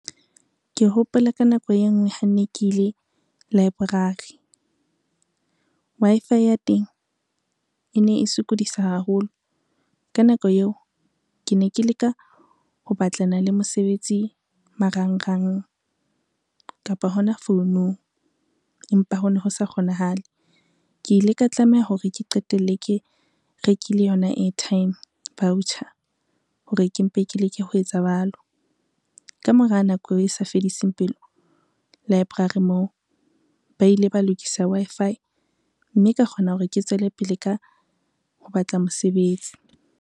Ke hopola ka nako e ngwe ha nne ke ile library, Wi-Fi ya teng e ne e sokodisa haholo ka nako eo ke ne ke leka ho batlana le mosebetsi marangrang kapo hona founung, empa ho no ho sa kgonahale. Ke ile ka tlameha hore ke qetelle ke rekile yona airtime voucher hore ke mpe ke leke ho etsa jwalo. Ka mora nako e sa fediseng pelo library moo ba ile ba lokisa Wi-Fi, mme ka kgona hore ke tswele pele ka ho batla mosebetsi.